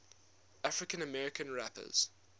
african american rappers